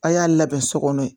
A' y'a labɛn so kɔnɔ